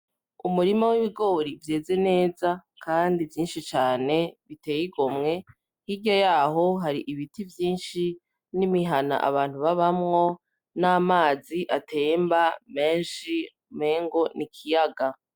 Umurima w'ibigori vyeze neza kandi vyishi cane biteye igomwe hirya yaho hari ibiti vyishi n'imihana abantu babamwo n'amazi atemba meshi umengo n'ikiyaga.